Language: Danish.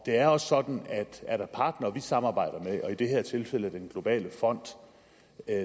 er også sådan at er der partnere som vi samarbejder med i det her tilfælde den globale fond